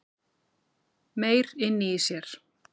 Meyr inni í sér